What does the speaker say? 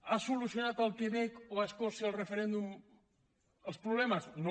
ha solucionat al quebec o a escòcia el referèndum els problemes no